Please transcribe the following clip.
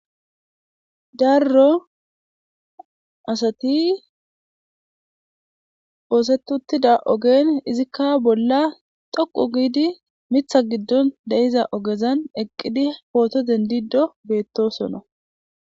darro asati oosetuttida ogen izikka bolla xoqu giidi mitha giddon deiza ogezan eqqidi pooto dendido beettosonna